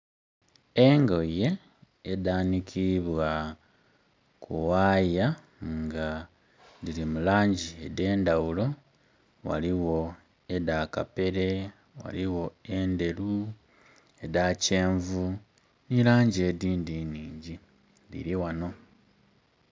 Engoye edhanikibwa ku waaya nga dhiri mu langi ed'endhaghulo ghaligho edha kapere, ghaligho endheru, edha kyenvu ni langi edindhi nhingi dhiri ghano.